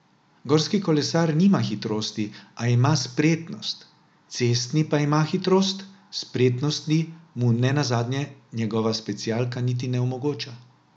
Gorski kolesar nima hitrosti, a ima spretnost, cestni pa ima hitrost, spretnosti mu nenazadnje njegova specialka niti ne omogoča.